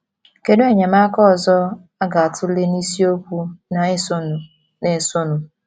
Kedu Enyemaka ọzọ a ga - atụle n’isiokwu na - esonụ na - esonụ?